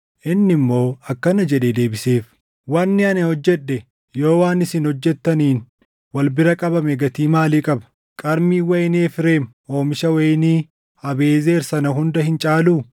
Inni immoo akkana jedhee deebiseef; “Wanni ani hojjedhe yoo waan isin hojjettaniin wal bira qabame gatii maalii qaba? Qarmiin wayinii Efreem oomisha wayinii Abiiʼezer sana hunda hin caaluu?